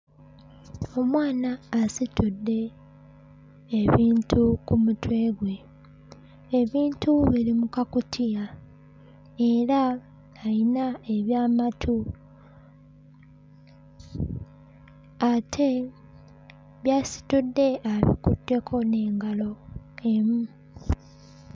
Omwana asitudde ebintu ku mutwe gwe. Ebintu biri mu kakutiya era ayina eby'amatu ate by'asitudde abikutteko n'engalo emu.